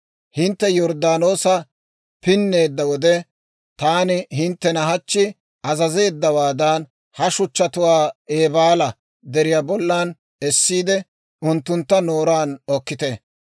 Hintte Yorddaanoosa pinneedda wode, taani hinttena hachchi azazeeddawaadan, ha shuchchatuwaa Eebaala Deriyaa bollan essiide, unttuntta booshunchchaan okkite.